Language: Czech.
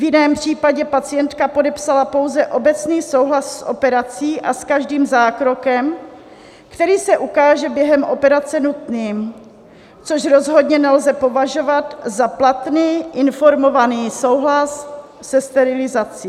V jiném případě pacientka podepsala pouze obecný souhlas s operací a s každým zákrokem, který se ukáže během operace nutným, což rozhodně nelze považovat za platný informovaný souhlas se sterilizací.